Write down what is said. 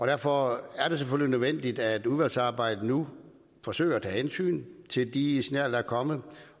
derfor er det selvfølgelig nødvendigt at udvalgsarbejdet nu forsøger at tage hensyn til de signaler der er kommet